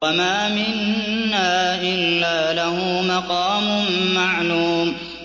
وَمَا مِنَّا إِلَّا لَهُ مَقَامٌ مَّعْلُومٌ